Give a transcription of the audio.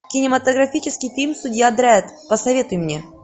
кинематографический фильм судья дредд посоветуй мне